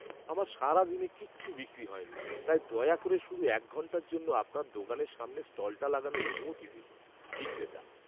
আমার সারাদিনে কিচ্ছু বিক্রি হয়নি, তাই দয়া করে শুধু এক ঘন্টার জন্য আপনার দোকানের সামনে স্টলটা লাগানোর অনুমতি দিন। বিক্রেতা